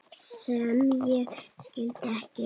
sem ég skildi ekki